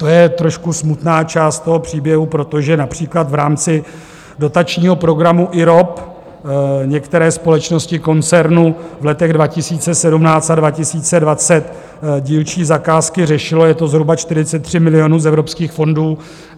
To je trošku smutná část toho příběhu, protože například v rámci dotačního programu IROP některé společnosti koncernu v letech 2017 a 2020 dílčí zakázky řešilo, je to zhruba 43 milionů z evropských fondů.